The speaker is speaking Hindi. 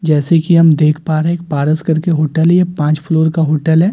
जैसे कि हम देख पा रहे हैं एक पारस करके होटल है ये पांच फ्लोर का होटल है।